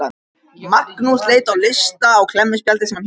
Magnús leit á lista á klemmuspjaldi sem hann hélt á.